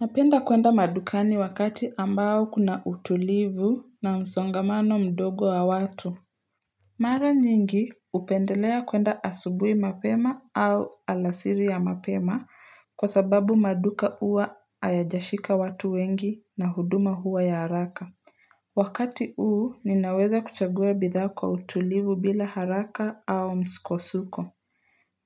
Napenda kuenda madukani wakati ambao kuna utulivu na msongamano mdogo wa watu Mara nyingi hupendelea kuenda asubui mapema au alasiri ya mapema kwa sababu maduka huwa hayajashika watu wengi na huduma huwa ya haraka Wakati huu ninaweza kuchagua bidhaa kwa utulivu bila haraka au msukosuko